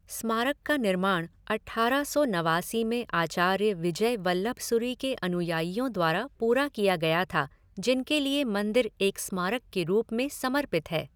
स्मारक का निर्माण अट्ठारह सौ नवासी में आचार्य विजय वल्लभसुरी के अनुयायियों द्वारा पूरा किया गया था जिनके लिए मंदिर एक स्मारक के रूप में समर्पित है।